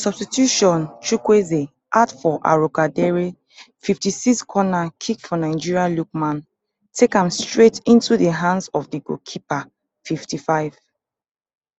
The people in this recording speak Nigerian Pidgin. substitution chukwueze out for arokodare fifty-six corner kick for nigeria lookman take am straight into di hands of di goal keeper fifty-five